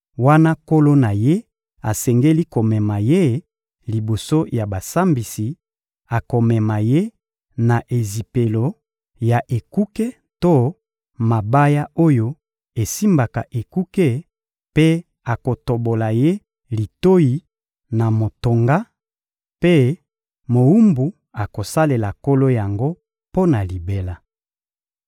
wana nkolo na ye asengeli komema ye liboso ya basambisi; akomema ye na ezipelo ya ekuke to na mabaya oyo esimbaka ekuke mpe akotobola ye litoyi na motonga; mpe mowumbu akosalela nkolo yango mpo na libela.